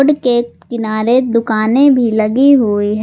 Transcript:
के किनारे दुकानें भी लगी हुई हैं।